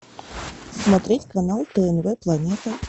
смотреть канал тнв планета